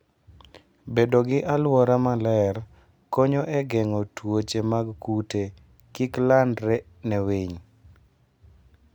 Bedo gi alwora maler konyo e geng'o tuoche mag kute kik landre ne winy.